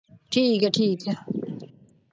ਠੀਕ ਹੈ ਠੀਕ ਹੈ।